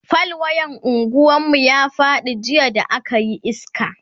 fal wayan unguwan mu ya Faɗi jiya da akayi iska